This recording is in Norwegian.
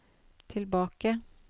tilbake